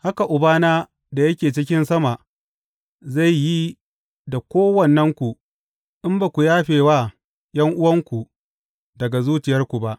Haka Ubana da yake cikin sama zai yi da kowannenku, in ba ku yafe wa ’yan’uwanku daga zuciyarku ba.